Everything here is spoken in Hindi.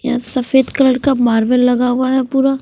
यहा सफ़ेद कलर का मार्बल लगा हुआ है पूरा--